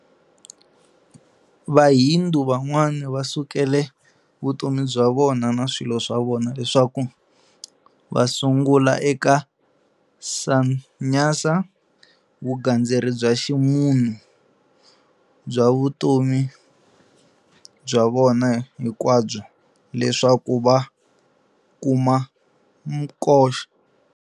Vahindu van'wana va sukela vutomi bya vona na swilo swavona, leswku va sungula eka Sannyasa, vugandzeri bya ximunhu, bya vutomi bya vona hinkwabyo leswaku va kuma Moksha.